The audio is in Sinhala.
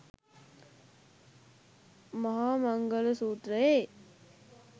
මහාමංගල සූත්‍රයේ